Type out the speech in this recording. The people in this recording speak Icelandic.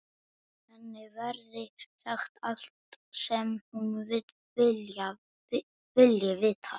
Henni verði sagt allt sem hún vilji vita.